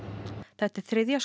þetta er þriðja